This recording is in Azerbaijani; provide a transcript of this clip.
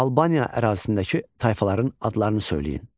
Albaniya ərazisindəki tayfaların adlarını söyləyin.